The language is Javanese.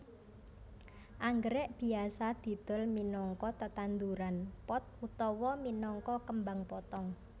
Anggrèk biasa didol minangka tetanduran pot utawa minangka kembang potong